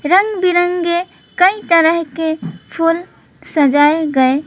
रंग बिरंगे कई तरह के फूल सजाए गए --